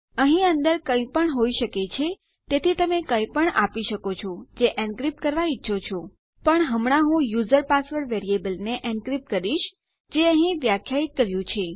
અહીં અંદર કઈપણ હોય શકે છે તેથી તમે કંઈપણ આપી શકો છો જે એનક્રીપ્ટ કરવાં ઈચ્છો છો પણ હમણાં હું યુઝર પાસવર્ડ વેરીએબલને એનક્રીપ્ટ કરીશ જે અહીં વ્યાખ્યાયિત કર્યું છે